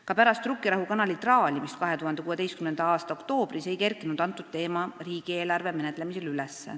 Ka pärast Rukkirahu kanali traalimist 2016. aasta oktoobris ei kerkinud see teema riigieelarve menetlemisel üles.